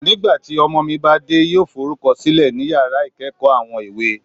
Nigbati ọmọ mi ba de, yoo forukọsilẹ ni yara ikeekoo Awon èwo